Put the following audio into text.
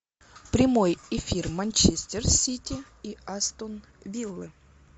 прямой эфир манчестер сити и астон виллы